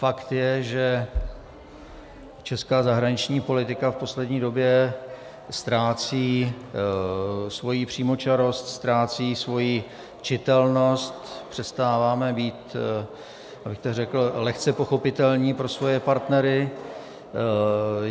Fakt je, že česká zahraniční politika v poslední době ztrácí svoji přímočarost, ztrácí svoji čitelnost, přestáváme být, abych tak řekl, lehce pochopitelní pro svoje partnery.